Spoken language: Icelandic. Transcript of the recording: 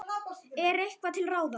En er eitthvað til ráða?